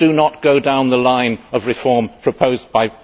Please do not go down the line of reform proposed by...